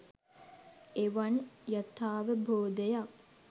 එවන් යථාවබෝධයක්